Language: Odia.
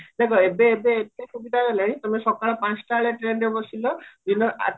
ଦେଖା ଏବେ ଏବେ ଏବେ ସୁବିଧା ହେଇଗଲାଣି ତମେ ସକାଳ ପଞ୍ଚଟା ବେଳେ trainରେ ବସିଲ ଦିନ ଆଠଟା